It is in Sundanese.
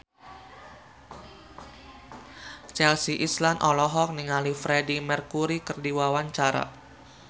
Chelsea Islan olohok ningali Freedie Mercury keur diwawancara